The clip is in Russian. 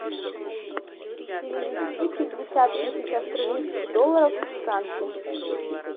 перевести пятьдесят тысяч австралийских долларов во франки